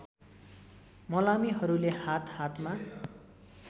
मलामीहरूले हात हातमा